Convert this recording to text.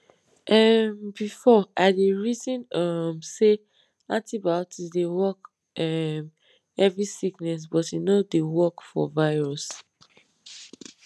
um before i dey reason um say antibiotics dey work um every sickness but e no dey work for virus